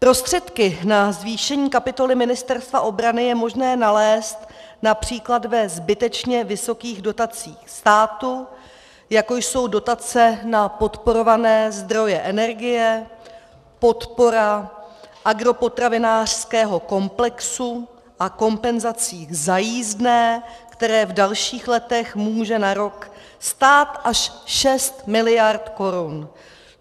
Prostředky na zvýšení kapitoly Ministerstva obrany je možné nalézt například ve zbytečně vysokých dotacích státu, jako jsou dotace na podporované zdroje energie, podpora agropotravinářského komplexu, a kompenzacích za jízdné, které v dalších letech může na rok stát až 6 miliard korun.